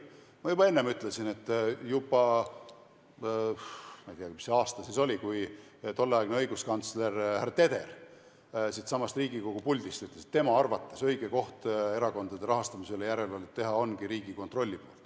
Ma ütlesin enne, et juba – ma ei tea, mis aasta see oli – tolleaegne õiguskantsler härra Teder ütles siitsamast Riigikogu puldist, et tema arvates õige koht, kus erakondade rahastamisele järelevalvet teha ongi Riigikontroll.